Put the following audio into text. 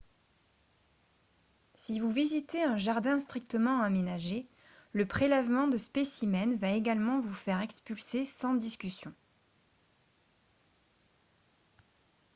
si vous visitez un jardin strictement aménagé le prélèvement de « spécimens » va également vous faire expulser sans discussion